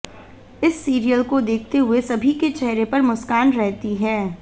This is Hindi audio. इस सीरियल को देखते हुए सभी के चेहरे पर मुस्कान रहती है